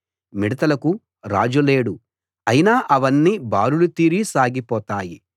మిడతలకు రాజు లేడు అయినా అవన్నీ బారులు తీరి సాగిపోతాయి